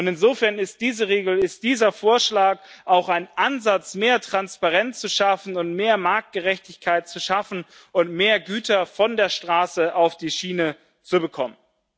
Insofern ist diese Regel, ist dieser Vorschlag auch ein Ansatz, mehr Transparenz und mehr Marktgerechtigkeit zu schaffen und mehr Güter von der Straße auf die Schiene zu bekommen.